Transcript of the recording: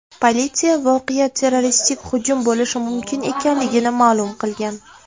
Politsiya voqea terroristik hujum bo‘lishi mumkin ekanligini ma’lum qilgan.